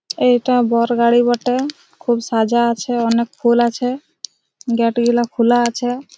এটা বর গাড়ি বটে খুব সাজা আছে অনেক ফুল আছে গেট গুলো খোলা আছে।